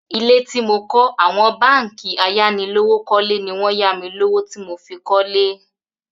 Ilé tí mo kọ́ àwọn báǹkì ayánilówókọ́lé ni wọ́n ya mi lówó tí mo fi kọ́lé.